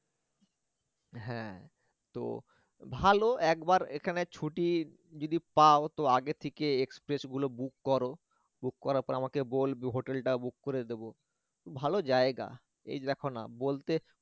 হ্যা তো ভালো একবার এখানে ছুটি যদি পাও তো আগে থেকে express গুলো book করো book করার পর আমাকে বলবে hotel টা book করে দেব ভাল জায়গা এই দেখ না বলতে